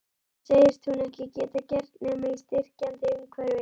Það segist hún ekki geta gert nema í styrkjandi umhverfi.